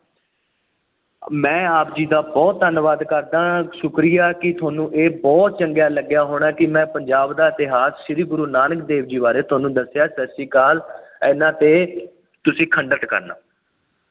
ਮੈਂ ਆਪ ਜੀ ਦਾ ਬਹੁਤ ਧੰਨਵਾਦ ਕਰਦਾਂ। ਸ਼ੁਕਰੀਆ ਕਿ ਤੁਹਾਨੂੰ ਇਹ ਬਹੁਤ ਚੰਗਾ ਲੱਗਿਆ ਹੋਣਾ ਕਿ ਮੈਂ ਪੰਜਾਬ ਦਾ ਇਤਿਹਾਸ ਸ਼੍ਰੀ ਗੁਰੂ ਨਾਨਕ ਦੇਵ ਬਾਰੇ ਤੁਹਾਨੂੰ ਦੱਸਿਆ। ਸਤਿ ਸ਼੍ਰੀ ਅਕਾਲ। ਇਹਨਾ ਤੇ ਤੁਸੀਂ ਖੰਡਿਤ ਕਰਨਾ।